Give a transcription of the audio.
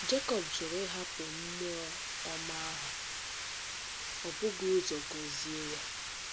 Jekọb jụrụ ịhapụ mmụọ ọma ahụ ma ó bughị ụzọ gọzie ya.